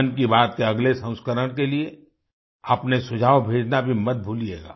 मन की बात के अगले संस्करण के लिए अपने सुझाव भेजना भी मत भूलिएगा